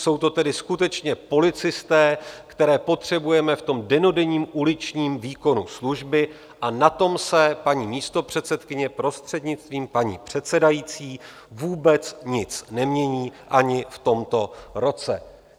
Jsou to tedy skutečně policisté, které potřebujeme v tom dennodenním uličním výkonu služby, a na tom se, paní místopředsedkyně, prostřednictvím paní předsedající, vůbec nic nemění ani v tomto roce.